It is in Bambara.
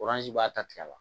b'a ta tigɛ la